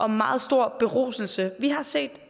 meget stor beruselse vi har set